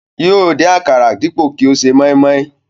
Yóò dín àkàrà dípò kí ó ṣe mọ́ímọ́í